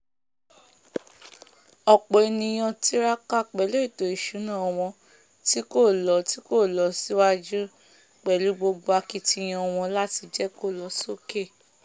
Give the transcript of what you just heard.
ọ̀pọ̀ ènìyàn tiraka pèlú ètò ìsúná wọn tí kò lo tí kò lo síwájú pẹ̀lú gbogbo akitiyan wọn làti jẹ́ kó lo sókè